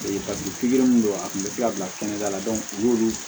Paseke pikiri min don a kun bɛ se ka bila kɛnɛda la u y'olu